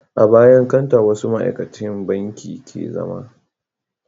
A bayan kanta wasu ma'aikacin banki ke zama